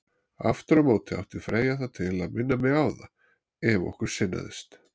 Aftur á móti átti Freyja það til að minna mig á það, ef okkur sinnaðist.